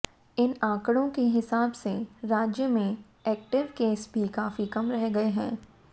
इन आंकड़ों के हिसाब से राज्य में एक्टिव केस भी काफी कम रह गए हैं